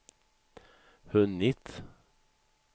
hunnit